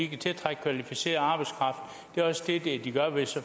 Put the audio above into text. kan tiltrække kvalificeret arbejdskraft det er også det de gør hvis